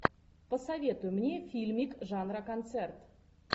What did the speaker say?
посоветуй мне фильмик жанра концерт